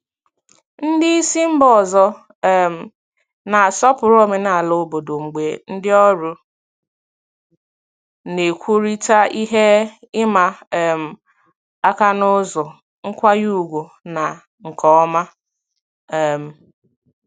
Ndị isi mba ọzọ um na-asọpụrụ omenala obodo mgbe ndị ọrụ na-ekwurịta ihe ịma um aka n'ụzọ nkwanye ùgwù na nke ọma. um